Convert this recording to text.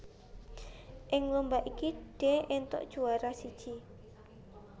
Ing lomba iki Dee éntuk juwara siji